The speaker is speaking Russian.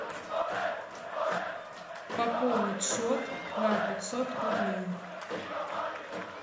пополнить счет на пятьсот рублей